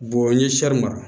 n ye mara